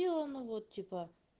ну они вот типа